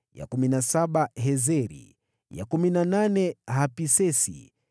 ya kumi na saba Heziri, ya kumi na nane Hapisesi,